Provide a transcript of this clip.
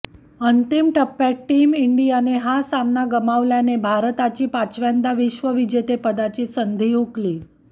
अंतिम टप्प्यात टीम इंडियाने हा सामना गमावल्याने भारताची पाचव्यांदा विश्वविजेतेपदाची संधी हुकली